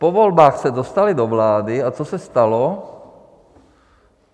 Po volbách se dostali do vlády, a co se stalo?